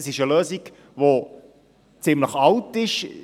Es ist eine Lösung, die ziemlich alt ist.